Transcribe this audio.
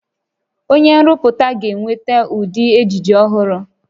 Onye nrụpụta ga-eweta ụdị ejiji ọhụrụ